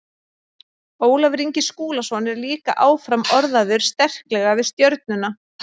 Ólafur Ingi Skúlason er líka áfram orðaður sterklega við Stjörnuna.